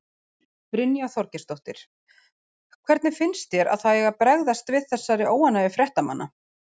Brynja Þorgeirsdóttir: Hvernig finnst þér að það eigi að bregðast við þessari óánægju fréttamanna?